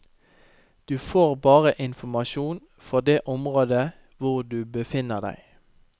Du får bare informasjon for det området hvor du befinner deg.